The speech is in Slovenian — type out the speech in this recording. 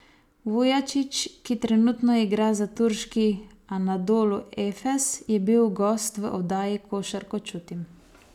Vujačić, ki trenutno igra za turški Anadolu Efes, je bil gost v oddaji Košarko čutim.